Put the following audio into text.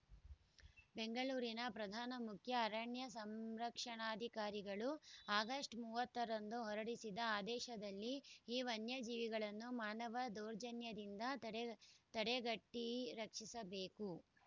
ಬೆಂಗಳೂರಿನ ಪ್ರಧಾನ ಮುಖ್ಯ ಅರಣ್ಯ ಸಂರಕ್ಷಣಾಧಿಕಾರಿಗಳು ಆಗಸ್ಟ್ ಮೂವತ್ತರಂದು ಹೊರಡಿಸಿದ ಆದೇಶದಲ್ಲಿ ಈ ವನ್ಯಜೀವಿಗಳನ್ನು ಮಾನವ ದೌರ್ಜನ್ಯದಿಂದ ತಡೆ ತಡೆಗಟ್ಟಿರಕ್ಷಿಸಬೇಕು